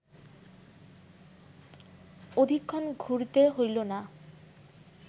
অধিকক্ষণ ঘুরিতে হইল না